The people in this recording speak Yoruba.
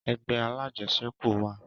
Ẹgbẹ́ alajẹsẹ́kù wa